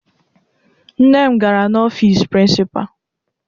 Nne m gara n'ọfiisi prịnsịpaa